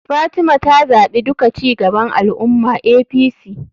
Fatima ta zaɓi duka cigaban al ummah[apc].